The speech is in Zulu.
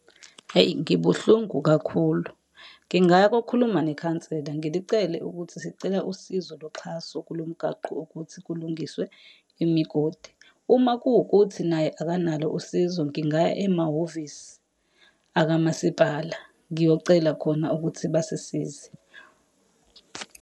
Hhayi, ngibuhlungu kakhulu. Ngingaya kokhuluma nekhansela ngilicele ukuthi sicela usizo loxhaso kulo mgaqo ukuthi kulungiswe imigodi. Uma kuwukuthi naye akanalo usizo ngingaya emahhovisi akamasipala, ngiyocela khona ukuthi basisize.